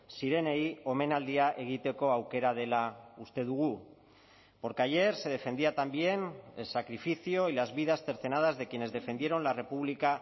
zirenei omenaldia egiteko aukera dela uste dugu porque ayer se defendía también el sacrificio y las vidas cercenadas de quienes defendieron la república